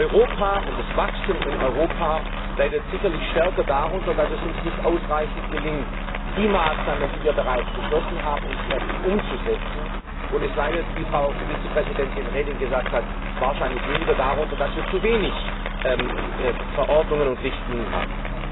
Europa und das Wachstum in Europa leiden sicherlich stärker darunter, dass es uns nicht ausreichend gelingt, die Maßnahmen, die wir bereits beschlossen haben, entsprechend umzusetzen, und es leidet, wie Frau Vizepräsidentin Reding gesagt hat, wahrscheinlich weniger darunter, dass wir zu wenig Verordnungen und Richtlinien haben.